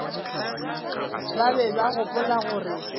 ba be ba gopola gore